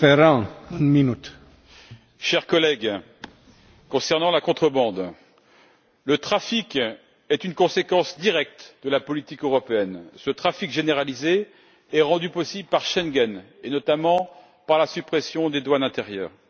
Monsieur le Président, chers collègues, concernant la contrebande, le trafic est une conséquence directe de la politique européenne. Ce trafic généralisé est rendu possible par Schengen, et notamment par la suppression des douanes intérieures.